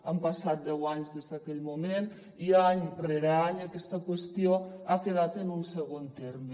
han passat deu anys des d’aquell moment i any rere any aquesta qüestió ha quedat en un segon terme